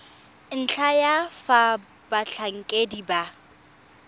ntlha ya fa batlhankedi ba